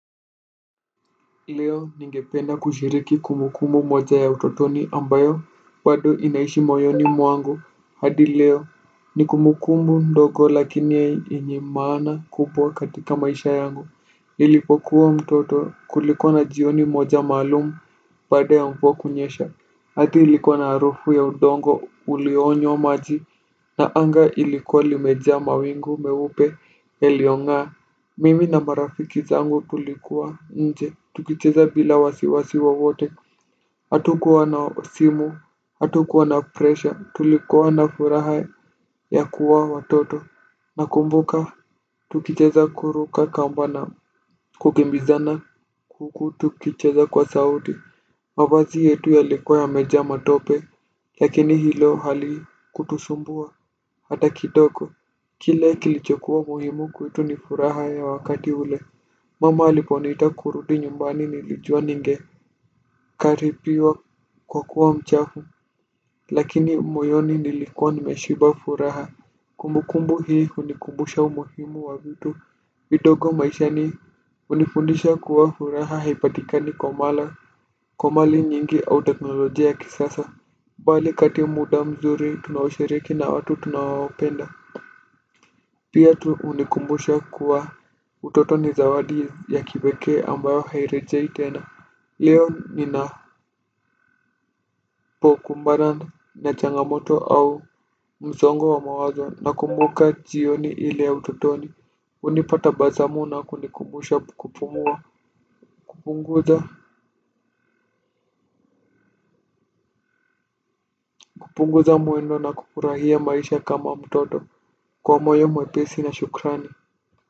Leo ningependa kushiriki kumbukumbu moja ya utotoni ambayo bado inaishi moyoni mwangu hadi leo. Ni kumbukumbu ndogo lakini yenye maana kubwa katika maisha yangu. Nilipokuwa mtoto kulikuwa na jioni moja maalumu baada ya mvua kunyesha. Ardhi ilikuwa na harufu ya udongo ulionywa maji. Na anga ilikuwa limeja mawingu meupe yaliong'aa. Mimi na marafiki zangu tulikuwa nje tukicheza bila wasiwasiwa wowote. Hatukuwa na simu hatukuwa na pressure. Tulikuwa na furaha ya kuwa watoto. Nakumbuka tukicheza kuruka kamba na kukimbizana huku tukicheza kwa sauti. Mavazi yetu yalikuwa yamejaa matope lakini hilo halikutusumbua. Hata kidoko. Kile kilichokuwa muhimu kwetu ni furaha ya wakati ule. Mama aliponiita kurudi nyumbani nilijua ningekaribiwa kwa kuwa mchafu. Lakini moyoni nilikuwa nimeshiba furaha. Kumbukumbu hii hunikumbusha umuhimu wa vitu vidogo maishani. Hunifundisha kuwa furaha haipatikani kwa mali nyingi au teknolojia ya kisasa bali kati ya muda mzuri tunaoshiriki na watu tunowapenda. Pia tu hunikumbusha kuwa utotoni zawadi ya kipekee ambayo hairejei tena. Leo ninapokumbana na changamoto au msongo wa mawazo nakumbuka jioni ile ya utotoni. Hunipa tabasamu na kunikumbusha kupumua. Kupunguza mwendo na kufurahia maisha kama mtoto kwa moyo mwepesi na shukrani.